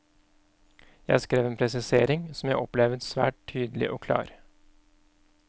Jeg skrev en presisering som jeg opplevet svært tydelig og klar.